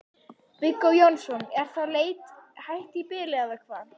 Viggó Jónsson: Er þá leit hætt í bili eða hvað?